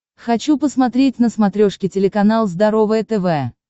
хочу посмотреть на смотрешке телеканал здоровое тв